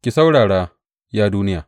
Ki saurara, ya duniya!